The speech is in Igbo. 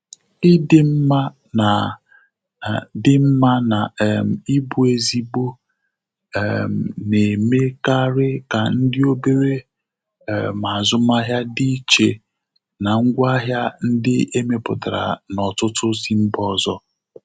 Ị di mma na di mma na um ị bụ ezigbo um na-emekari ka ndị obere um azụmahịa dị iche na ngwaahịa ndi emepụtara n'ọtụtụ si mba ọzọ.